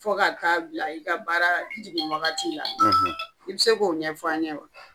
Fɔ ka taa bila i ka baara jugin wagati la, i bɛ se k'o ɲɛ fɔ an ye wa?